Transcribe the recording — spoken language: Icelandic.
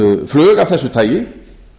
flug af þessu tagi